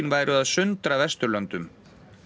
væru að sundra Vesturlöndum